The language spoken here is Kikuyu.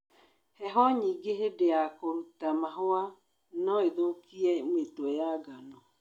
heho nyingĩ hĩndĩ ya kũruta mahũa nũĩthũkie mĩtwe ya ngano.